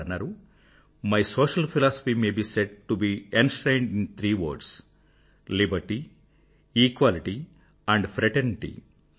వారన్నారు my social philosophy may be said to be enshrined in three words liberty equality and fraternity